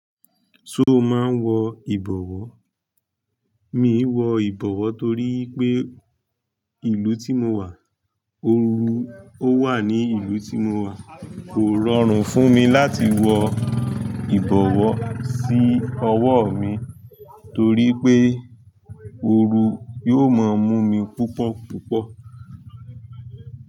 Ṣe o máa ń wọ ìbọ̀wọ́? Mi i wọ ìbọ̀wọ́ torí pé ìlú tí mo wà, ooru ó wà ní ìlú tí mo wà. Kò rọrùn fún mi láti wọ ìbọ̀wọ́ sí ọwọ́ mi torí pé ooru yóò máa mú mi púpọ̀ púpọ̀.